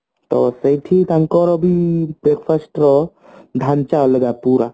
ଆଁ ସେଇଠି ତାଙ୍କର ବି breakfast ରେ ଢାଞ୍ଚା ଅଲଗା ପୁରା